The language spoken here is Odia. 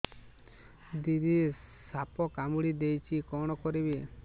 ଦିଦି ସାପ କାମୁଡି ଦେଇଛି କଣ କରିବି